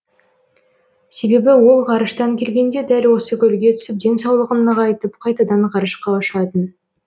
себебі ол ғарыштан келгенде дәл осы көлге түсіп денсаулығын нығайтып қайтадан ғарышқа ұшатын